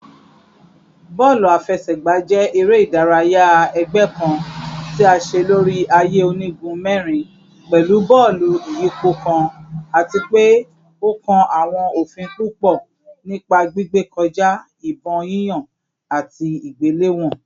Bọọlu afẹsẹgba jẹ ere-idaraya ẹgbẹ kan ti a ṣe lori aaye onigun mẹrin pẹlu bọọlu iyipo kan ati pe o kan awọn ofin pupọ nipa gbigbe kọja, ibon yiyan, ati igbelewọn